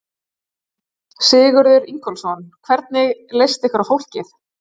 Sigurður Ingólfsson: Hvernig leist ykkur á fólkið?